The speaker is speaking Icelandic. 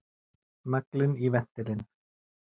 Naglinn í ventilinn!